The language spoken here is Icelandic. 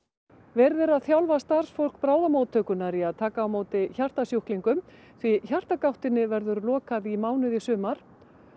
verið er að þjálfa starfsfólk bráðamóttökunnar í því að taka á móti hjartasjúklingum því verður lokað í mánuð í sumar